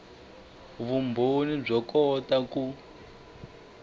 vumbhoni byo kota ku